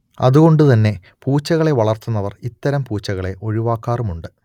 അതുകൊണ്ട് തന്നെ പൂച്ചകളെ വളർത്തുന്നവർ ഇത്തരം പൂച്ചകളെ ഒഴിവാക്കാറുമുണ്ട്